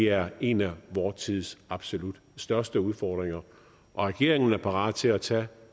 er en af vor tids absolut største udfordringer regeringen er parat til at tage